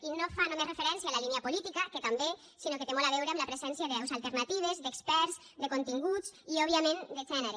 i no fa només referència a la línia política que també sinó que té molt a veure amb la presència de veus alternatives d’experts de continguts i òbviament de gènere